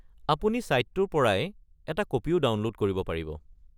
আপুনি ছাইটটোৰ পৰাই এটা কপিও ডাউনলোড কৰিব পাৰিব।